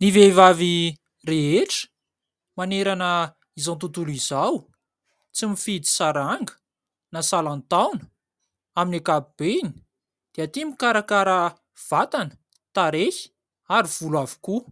Ny vehivavy rehetra manerana izao tontolo izao tsy mifidy saranga na salan-taona amin'ny ankapobeny dia tia mikarakara vatana, tarehy ary volo avokoa